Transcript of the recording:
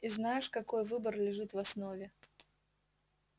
и знаешь какой выбор лежит в основе